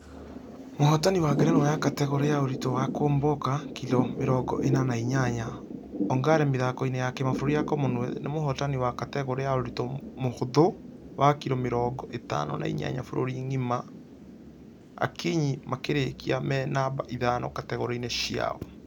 Mũhotani wa ngerenwa ya ....kategore ya ũrĩtũ wa kũomboka kiro mĩrongo ĩna na inyanya ongare mĩthako-inĩ ya kĩmabũrũri ya commonwealth . Na mũhotani wa kategore ya ũritũ mũhũthũ wa kiro mĩrongo ĩtano na inyanya bũrũri ngima akinyi makĩrĩkia me namba ithano kategore-inĩ ciao.